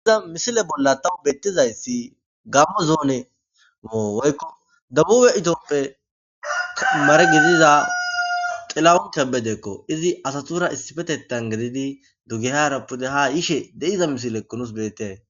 iiza misile bolla tawu beettizayssi gammo zoone moo woykko dabube itophe mare gidiza xilawon kebedeekko izi asatura issifetetan gedidi dugehara pude ha yishe de'iza misilekko nus bettee